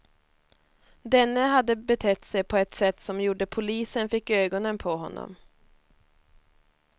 Denne hade betett sig på ett sätt som gjorde polisen fick ögonen på honom.